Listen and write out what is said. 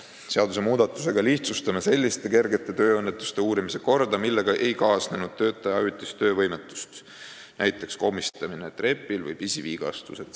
Seadusmuudatusega lihtsustame selliste kergete tööõnnetuste uurimise korda, millega ei kaasnenud töötaja ajutist töövõimetust, näiteks komistamine trepil või pisivigastused.